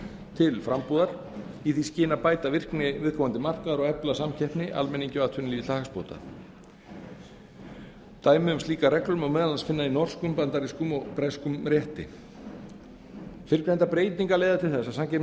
til frambúðar í því skyni að bæta virkni viðkomandi markaðar og efla samkeppni almenningi og atvinnulífinu til hagsbóta dæmi um slíkar reglur má meðal annars finna í norskum bandarískum og breskum rétti fyrrgreindar breytingar leiða til þess